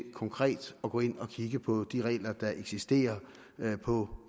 konkret at gå ind og kigge på de regler der eksisterer på